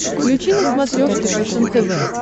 включи на смотрешке фэшен тв